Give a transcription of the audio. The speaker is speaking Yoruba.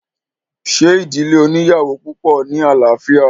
ṣe ìdílé oníyàwò púpọ̀ ní àlàáfíà?